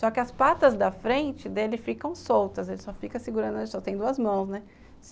Só que as patas da frente dele ficam soltas, ele só fica segurando, ele só tem duas mãos, né?